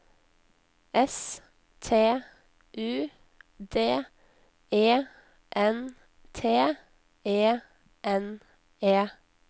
S T U D E N T E N E